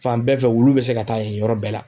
Fan bɛɛ fɛ wulu bɛ se ka taa yen yɔrɔ bɛɛ la.